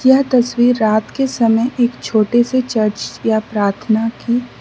यह तस्वीर रात के समय एक छोटे से चर्च या प्रार्थना की --